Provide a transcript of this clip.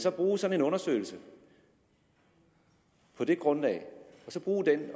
at bruge sådan en undersøgelse på det grundlag